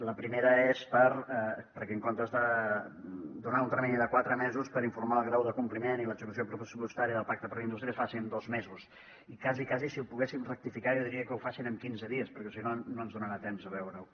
la primera és perquè en comptes de donar un termini de quatre mesos per informar del grau de compliment i l’execució pressupostària del pacte per la indústria es faci en dos mesos i quasi quasi si ho poguéssim rectificar jo diria que ho facin en quinze dies perquè si no no ens donarà temps de veure ho